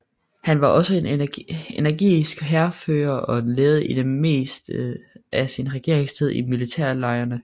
Han var også en energisk hærfører og levede i det meste af sin regeringstid i militærlejrene